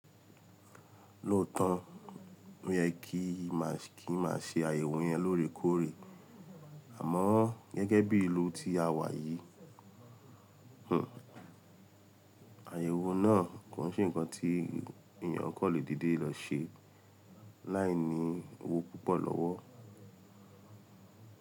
Lóòótọ́ ó yẹ kí máà ṣe àyẹ̀wò yẹn lórèkóòrè, àmọ́ gẹ́gẹ́ bí i ìlú tí a wà yìí, àyẹ̀wò náà kò n se ǹkan tí èyàn kò lè dìde lọ ṣe láìní owó púpọ̀ lọ́wọ́.